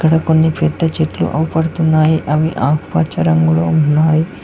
అక్కడ కొన్ని పెద్ద చెట్లు అవపడుతున్నాయి అవి ఆకుపచ్చ రంగులో ఉన్నాయి.